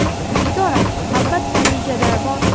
Nigora: Albatta, rejada bor.